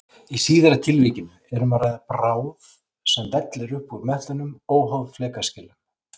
Í síðara tilvikinu er um að ræða bráð sem vellur upp úr möttlinum óháð flekaskilum.